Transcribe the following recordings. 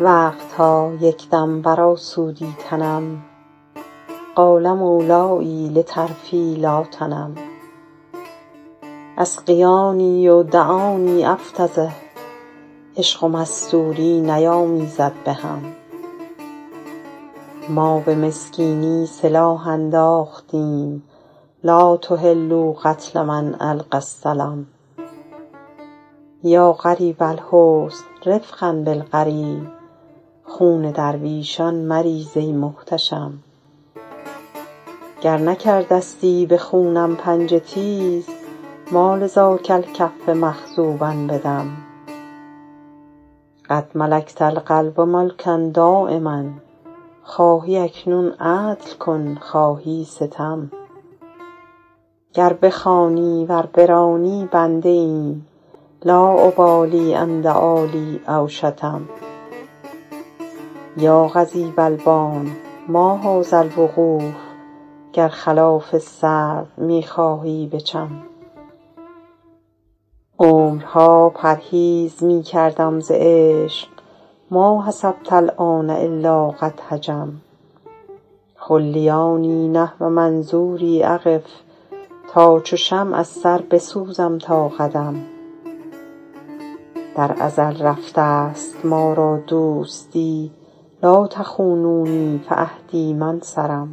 وقت ها یک دم برآسودی تنم قال مولای لطرفی لا تنم اسقیاني و دعاني أفتضح عشق و مستوری نیامیزد به هم ما به مسکینی سلاح انداختیم لا تحلوا قتل من ألقی السلم یا غریب الحسن رفقا بالغریب خون درویشان مریز ای محتشم گر نکرده ستی به خونم پنجه تیز ما لذاک الکف مخضوبا بدم قد ملکت القلب ملکا دایما خواهی اکنون عدل کن خواهی ستم گر بخوانی ور برانی بنده ایم لا أبالي إن دعا لی أو شتم یا قضیب البان ما هذا الوقوف گر خلاف سرو می خواهی بچم عمرها پرهیز می کردم ز عشق ما حسبت الآن إلا قد هجم خلیاني نحو منظوري أقف تا چو شمع از سر بسوزم تا قدم در ازل رفته ست ما را دوستی لا تخونونی فعهدی ما انصرم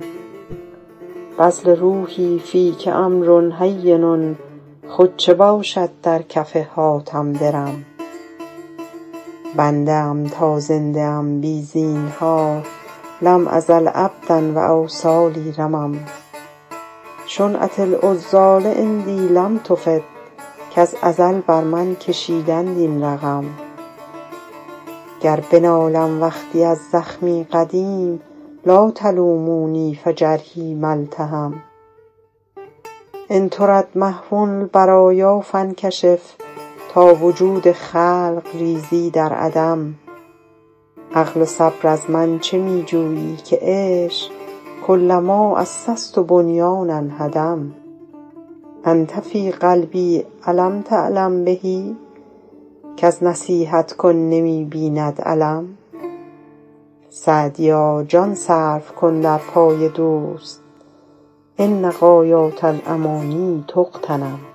بذل روحي فیک أمر هین خود چه باشد در کف حاتم درم بنده ام تا زنده ام بی زینهار لم أزل عبدا و أوصالي رمم شنعة العذال عندي لم تفد کز ازل بر من کشیدند این رقم گر بنالم وقتی از زخمی قدیم لا تلوموني فجرحي ما التحم إن ترد محو البرایا فانکشف تا وجود خلق ریزی در عدم عقل و صبر از من چه می جویی که عشق کلما أسست بنیانا هدم أنت في قلبي أ لم تعلم به کز نصیحت کن نمی بیند الم سعدیا جان صرف کن در پای دوست إن غایات الأماني تغتنم